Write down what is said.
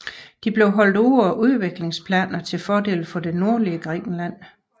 De blev holdt ude af udviklingsplanerne til fordel for det nordlige Grækenland